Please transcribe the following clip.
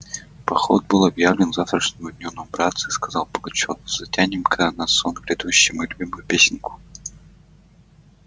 поход был объявлен к завтрашнему дню ну братцы сказал пугачёв затянем-ка на сон грядущий мою любимую песенку